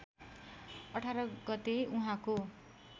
१८ गते उहाँको